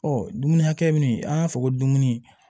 Ɔ dumuni hakɛ min an b'a fɔ ko dumuni